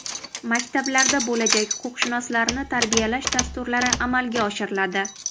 Maktablarda bo‘lajak huquqshunoslarni tarbiyalash dasturlari amalga oshiriladi.